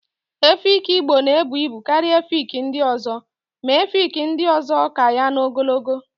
Efi Igbo na ebu ibu karịa efi ndị ọzọ, ma efi ndị ọzọ ka ya na n'ogologo